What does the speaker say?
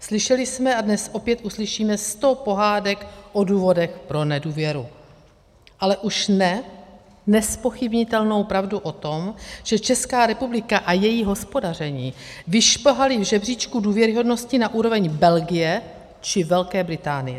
Slyšeli jsme a dnes opět uslyšíme sto pohádek o důvodech pro nedůvěru, ale už ne nezpochybnitelnou pravdu o tom, že Česká republika a její hospodaření vyšplhaly v žebříčku důvěryhodnosti na úroveň Belgie či Velké Británie.